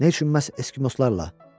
Nə üçün məhz Eskimoslarla?